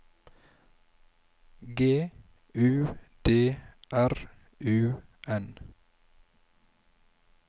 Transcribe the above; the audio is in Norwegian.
G U D R U N